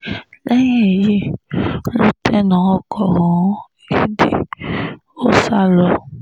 lẹ́yìn èyí ló tẹná ọkọ̀ ọ̀hún gidi ó sá lọ